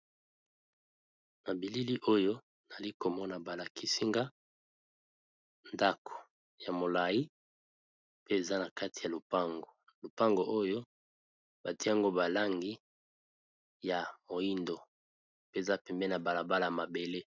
Na bilili oyo nali komona balakisinga ndako ya molai pe eza na kati ya lupango, lupango oyo batiango balangi ya moindo mpe za pembe na balabala mabele.